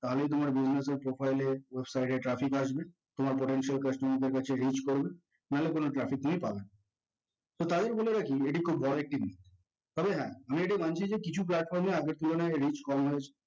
তাহলেই তোমার profile এ traffic আসবে তোমার potential customer দের কাছে reach করবে নাহলে কোনো traffic দিয়েই পাবেনা so তাদের বলে রাখি এটি তাদের খুব বড় একটি বিষয় তবে হ্যাঁ আমি এটি মানছি যে কিছু platform এ আগের তুলনায় reach কম হয়েছে